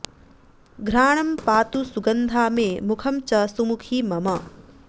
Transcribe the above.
घ्राणं पातु सुगन्धा मे मुखं च सुमुखी मम